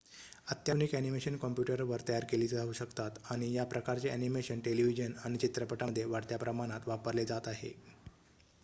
अत्याधुनिक अ‍ॅनिमेशन कॉम्प्युटरवर तयार केली जाऊ शकतात आणि या प्रकारचे अ‍ॅनिमेशन टेलिव्हिजन आणि चित्रपटांमध्ये वाढत्या प्रमाणात वापरले जात आहे